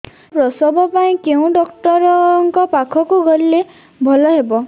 ସାର ପ୍ରସବ ପାଇଁ କେଉଁ ଡକ୍ଟର ଙ୍କ ପାଖକୁ ଗଲେ ଭଲ ହେବ